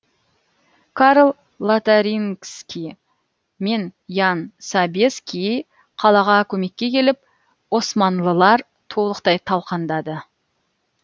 карл лотарингский мен ян собеский қалаға көмекке келіп османлылар толықтай талқандады